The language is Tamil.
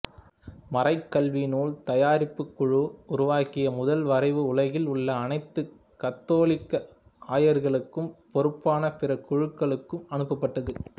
மறைக்கல்விநூல் தயாரிப்புக் குழு உருவாக்கிய முதல் வரைவு உலகில் உள்ள அனைத்து கத்தோலிக்க ஆயர்களுக்கும் பொறுப்பான பிற குழுக்களுக்கும் அனுப்பப்பட்டது